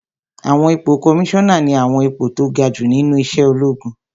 Àwọn ipò kọmísánà ní àwọn ipò tó ga jù nínú iṣẹ́ ológun